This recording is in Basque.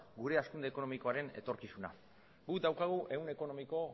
gure hazkunde ekonomikoaren etorkizuna guk daukagu ehun ekonomiko